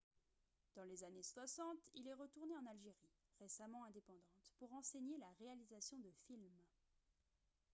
dans les années 60 il est retourné en algérie récemment indépendante pour enseigner la réalisation de films